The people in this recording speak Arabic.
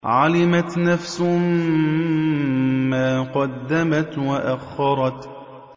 عَلِمَتْ نَفْسٌ مَّا قَدَّمَتْ وَأَخَّرَتْ